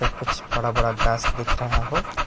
कुछ बड़ा बड़ा घास दिख रहा हो।